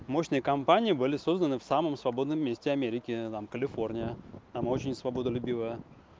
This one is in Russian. мощные кампании были созданы в самом свободном месте америки там калифорния там очень свободолюбивая